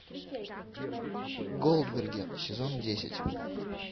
голдберги сезон десять